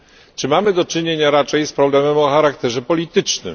czy mamy do czynienia raczej z problemem o charakterze politycznym.